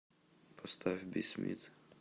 поставь би смит